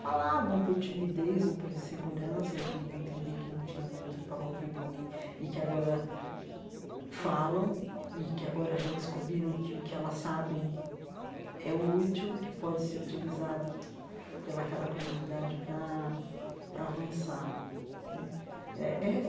falavam por timidez ou por insegurança, de entender que não tinha muito para contribuir, e que agora falam, e que agora já descobriram que o que elas sabem é útil, que pode ser utilizado pela aquela comunidade para para avançar né eh eh eh.